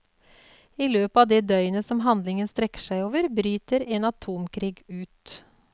I løpet av det døgnet som handlingen strekker seg over, bryter en atomkrig ut.